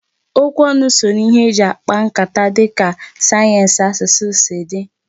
Okwu ọnụ so n'ihe eji akpa nkata dịka sayensị asụsụ si dị.